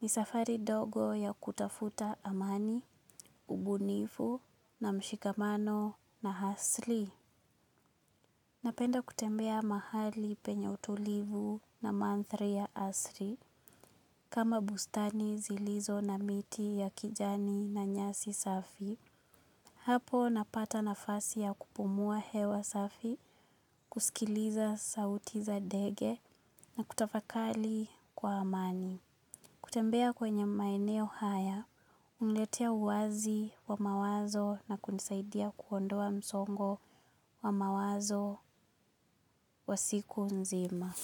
ni safari dogo ya kutafuta amani, ubunifu na mshikamano na hasli. Napenda kutembea mahali penye utulivu na manthri ya asri. Kama bustani zilizo na miti ya kijani na nyasi safi. Hapo napata nafasi ya kupumua hewa safi, kusikiliza sauti za dege na kutafakali kwa amani. Kutembea kwenye maeneo haya, uniletea uwazi wa mawazo na kunisaidia kuondoa msongo wa mawazo wa siku nzima.